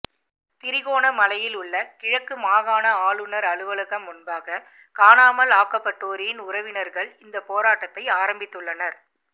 திருகோணமலையிலுள்ள கிழக்கு மாகாண ஆளுநர் அலுவலகம் முன்பாக காணாமல் ஆக்கப்பட்டோரின் உறவினர்கள் இந்த போராட்டத்தை ஆரம்பித்துள்ளனர்